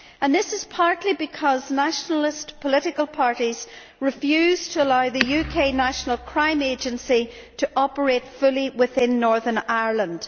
This is partly because Nationalist political parties refuse to allow the UK National Crime Agency to operate fully within Northern Ireland.